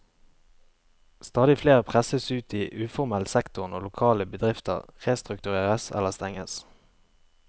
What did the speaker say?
Stadig flere presses ut i uformell sektor når lokale bedrifter restrukturerers eller stenges.